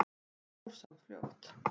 En þetta fór samt fljótt.